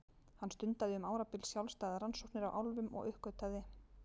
Hann stundaði um árabil sjálfstæðar rannsóknir á álfum og uppgötvaði